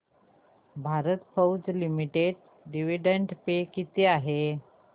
Bharat Forge limited dividend pay किती आहे